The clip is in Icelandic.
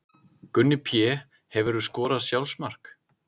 Gunni Pé Hefurðu skorað sjálfsmark?